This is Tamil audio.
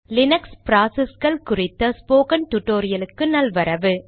லீனக்ஸ் ப்ராசஸ்கள் குறித்த ஸ்போகன் டுடோரியலுக்கு நல்வரவு